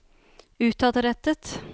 utadrettet